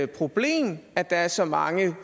problem at der er så mange